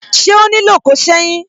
Ṣé ó nílò ko seyin?